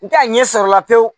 N t'a ɲɛ sɔrɔ la pewu